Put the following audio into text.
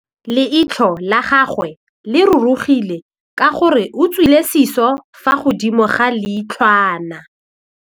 Leitlhô la gagwe le rurugile ka gore o tswile sisô fa godimo ga leitlhwana.